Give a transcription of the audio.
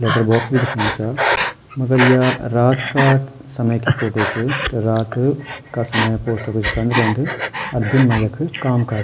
लैटरबॉक्स भी दिखेणु चा मगर या रात का समय की फोटो च रात का समय पोस्ट ऑफिस बंद रैंद अर दिन मा यख काम काज।